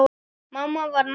Mamma var nagli.